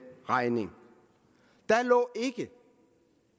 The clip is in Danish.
regning deri lå ikke